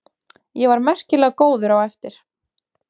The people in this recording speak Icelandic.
Ég var merkilega góður á eftir.